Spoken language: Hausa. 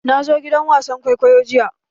Na zo gidan wasan kwaikwayo jiya.